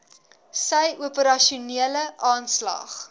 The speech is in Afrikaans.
sy operasionele aanslag